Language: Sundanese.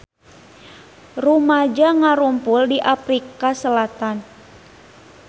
Rumaja ngarumpul di Afrika Selatan